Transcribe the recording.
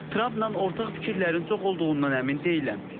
Trampla ortaq fikirlərin çox olduğundan əmin deyiləm.